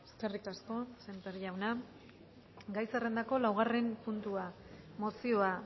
eskerrik asko sémper jauna gai zerrendako laugarren puntua mozioa